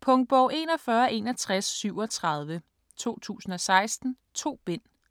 Punktbog 416137 2016. 2 bind.